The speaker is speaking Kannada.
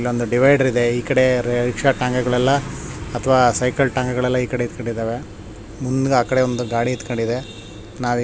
ಸೊ ಇಲ್ಲೊಂದು ಡಿವೈಡರ್ ಇದೆ ಈಕಡೆ ರಿಕ್ಷ ಟಾಂಗಾ ಗಳೆಲ್ಲ ಅಥವಾ ಸೈಕಲ್ ಟಾಂಗಾ ಗಳೆಲ್ಲ ಈಕಡೆ ನಿಂತಕೊಂಡಿದಾವೆ ಮುಂದೆ ಆ ಕಡೆ ಒಂದು ಗಾಡಿ ನಿಂತಕೊಂಡಿದೆ ನಾವು --